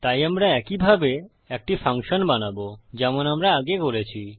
তাই আমরা একই ভাবে একটি ফাংশন বানাবো যেমন আমরা আগে করেছি